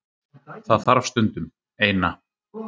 Það þarf stundum. Eina.